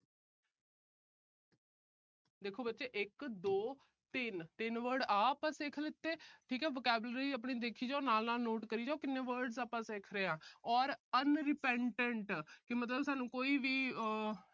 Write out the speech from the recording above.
ਦੇਖੋ ਬੱਚੇ। ਇੱਕ ਦੋ ਤਿੰਨ, ਤਿੰਨ words ਆ ਆਪਾ ਸਿੱਖ ਲੀਤੇ। ਦੇਖੋ vocabulary ਆਪਣੀ ਦੇਖੀ ਜਾਓ। ਨਾਲ-ਨਾਲ note ਕਰੀ ਜਾਓ। ਕਿੰਨੇ words ਆਪਾ ਸਿੱਖ ਗਏ ਹਾਂ ਔਰ unrepentant ਕਿ ਮਤਲਬ ਸਾਨੂੰ ਕੋਈ ਵੀ ਆਹ